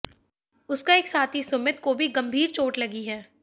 उसका एक साथी सुमित को भी गंभीर चोट लगी है